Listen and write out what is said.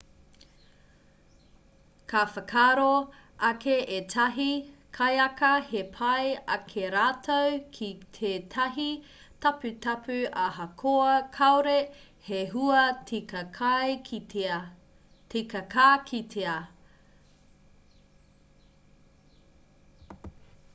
ka whakaaro ake ētahi kaiaka he pai ake rātou ki tētahi taputapu ahakoa kāore he hua tika ka kitea